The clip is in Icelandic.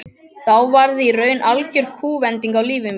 Þá varð í raun algjör kúvending á lífi mínu.